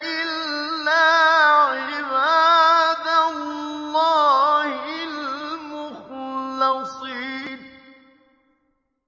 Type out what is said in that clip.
إِلَّا عِبَادَ اللَّهِ الْمُخْلَصِينَ